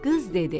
Qız dedi: